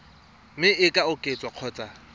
mme e ka oketswa kgotsa